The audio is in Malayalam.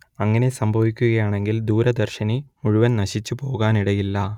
അങ്ങനെ സംഭവിക്കുകയാണെങ്കിൽ ദൂരദർശിനി മുഴുവനും നശിച്ചുപോകാനിടയില്ല